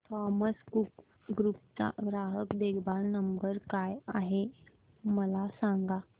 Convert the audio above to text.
Thomas Cook group चा ग्राहक देखभाल नंबर काय आहे मला सांगा